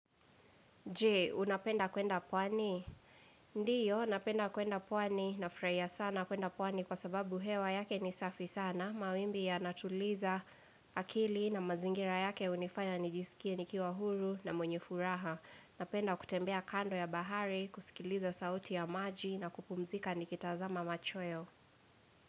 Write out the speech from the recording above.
Jee, unapenda kwenda pwani? Ndiyo, napenda kwenda pwani nafraiya sana kwenda pwani kwa sababu hewa yake ni safi sana. Mawimbi yanatuliza akili na mazingira yake unifanya nijisikie nikiwa huru na mwenye furaha. Napenda kutembea kando ya bahari, kusikiliza sauti ya maji na kupumzika nikitazama machoyo.